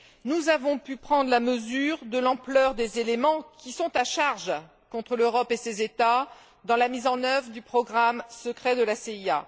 nous avons pu prendre la mesure de l'ampleur des éléments, qui sont à charge, contre l'Europe et ses États dans la mise en œuvre du programme secret de la CIA.